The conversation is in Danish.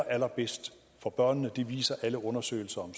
allerbedste for børnene det viser alle undersøgelser om